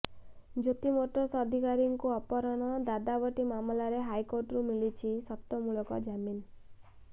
Jyoti motors ଅଧିକାରୀଙ୍କୁ ଅପହରଣ ଦାଦାବଟି ମାମଲାରେ ହାଇକୋର୍ଟରୁ ମିଳିଛି ସର୍ତ୍ତମୂଳକ ଜାମିନ